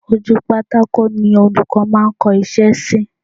Ojú pátákó ni Olùkọ́ máa ń kọ iṣẹ́ sí